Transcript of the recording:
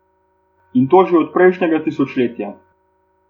In to že od prejšnjega tisočletja.